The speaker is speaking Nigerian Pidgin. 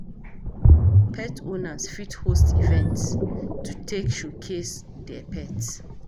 Pet owners fit host event to take showcase their pet